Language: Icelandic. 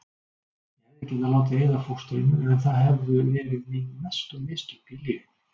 Ég hefði getað látið eyða fóstrinu en það hefðu verið mín mestu mistök í lífinu.